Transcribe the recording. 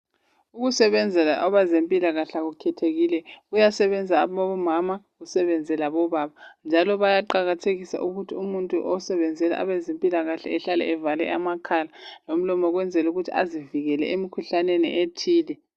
Ukusebenzela abezempilakahle akukhethekile ,kuyasebenza abomama kusebenze labobaba. Njalo bayaqakathekisa ukuthi umuntu osebenzela abezempilakahle ehlale evale amakhala lomlomo ukwenzelukuthi azivikele emkhuhlaneni ethile .